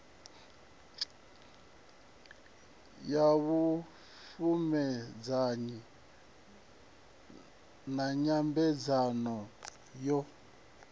ya vhupfumedzanyi na nyambedzano yo